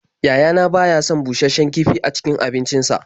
Yayana ba ya son bushasshen kifi a cikin abincinsa.